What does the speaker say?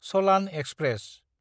चलान express